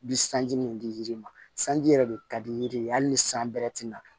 Bi sanji min di yiri ma sanji yɛrɛ de ka di yiri ye hali ni san bɛrɛ tɛ na